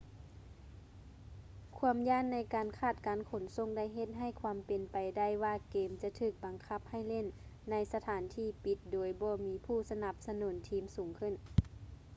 ຄວາມຢ້ານໃນການຂາດການຂົນສົ່ງໄດ້ເຮັດໃຫ້ຄວາມເປັນໄປໄດ້ວ່າເກມຈະຖືກບັງຄັບໃຫ້ຫຼິ້ນໃນສະຖານທີ່ປິດໂດຍບໍ່ມີຜູ້ສະໜັບສະໜູນທີມສູງຂຶ້ນ